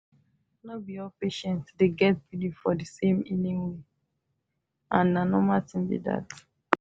no be all patient dey get believe for the same healing way and na normal thing be that